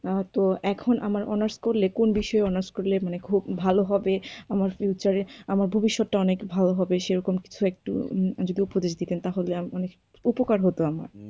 তো এখন আমার honours করলে কোন বিষয়ে honours করলে আমার খুব ভালো হবে, আমার future য়ে আমার ভবিষ্যতটা অনেক ভালো হবে, সেরকম কিছু একটু যদি উপদেশ দিতেন তাহলে আমার উপকার হতো আমার।